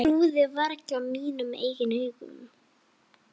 Trúði varla mínum eigin augum.